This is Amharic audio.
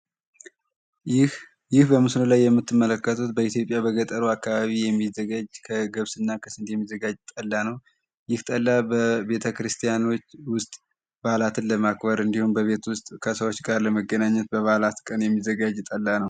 ይህ በምስሉ ላይ የምትመለከቱት በኢትዮጵያ በገጠሩ አካባቢ የሚዘጋጅ የገብስ ጠላ ነው ይህ ጠላ በቤተ ክርስቲያናት ውስጥ በዓላትን ለማክበር እንዲሁም በቤት ውስጥ ከሰዎች ጋር ለመገናኘት በበዓላት ቀን የሚዘጋጅ ጠላ።